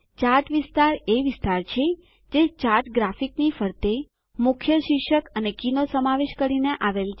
chart વિસ્તાર એ વિસ્તાર છે જે ચાર્ટ ગ્રાફીકની ફરતે મુખ્ય શીર્ષક અને કીનો સમાવેશ કરીને આવેલ છે